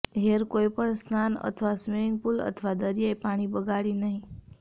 hair કોઈપણ સ્નાન અથવા સ્વિમિંગ પૂલ અથવા દરિયાઈ પાણી બગાડી નહીં